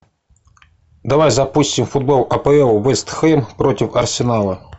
давай запустим футбол апл вест хэм против арсенала